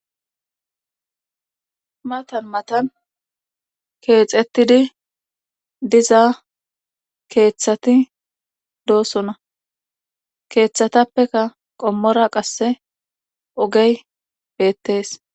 matan matan keexettidi diza keeththati doosona keeththatappeka qommora qasse ogey beettees